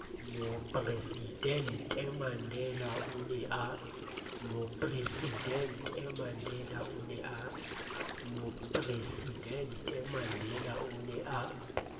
mopresidente mandela o ne a